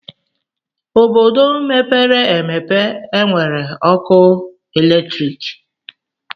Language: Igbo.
Obodo mepere emepe enwere ọkụ eletrik.